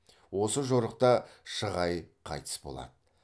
осы жорықта шығай қайтыс болады